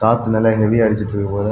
காத்து நல்ல ஹெவியா அடிச்சிட்ருக்கு போல.